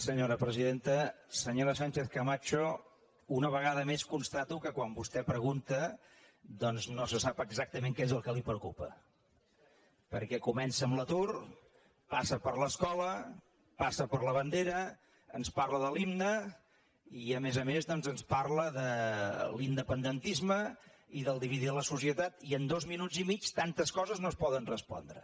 senyora sánchez camacho una vegada més constato que quan vostè pregunta doncs no se sap exactament què és el que la preocupa perquè comença amb l’atur passa per l’escola passa per la bandera ens parla de l’himne i a més a més ens parla de l’independentisme i de dividir la societat i en dos minuts i mig tantes coses no es poden respondre